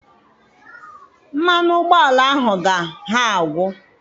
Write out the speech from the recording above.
Mmanụ ụgbọala ahụ ga ha agwụ.